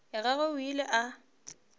ya gagwe o ile a